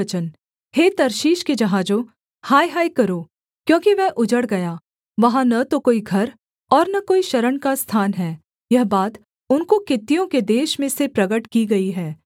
सोर के विषय में भारी वचन हे तर्शीश के जहाजों हाय हाय करो क्योंकि वह उजड़ गया वहाँ न तो कोई घर और न कोई शरण का स्थान है यह बात उनको कित्तियों के देश में से प्रगट की गई है